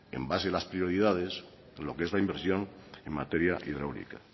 en base a las prioridades lo que es la inversión en materia hidráulica